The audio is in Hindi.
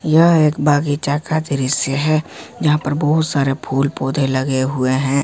यह एक बगीचा का दृश्य है यहां पर बहुत सारे फूल पौधे लगे हुए हैं।